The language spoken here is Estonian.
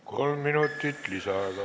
Kolm minutit lisaaega.